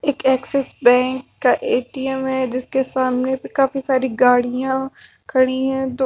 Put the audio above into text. एक Axis bank का ए_टी_एम है जिसके सामने काफी सारी गाड़ियां खड़ी है दो--